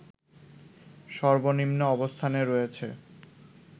সর্বনিম্ন অবস্থানে রয়েছে